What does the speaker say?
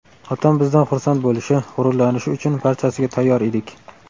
Otam bizdan xursand bo‘lishi, g‘ururlanishi uchun barchasiga tayyor edik.